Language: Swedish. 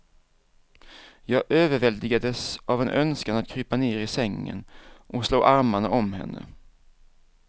Jag överväldigades av en önskan att krypa ner i sängen och slå armarna om henne.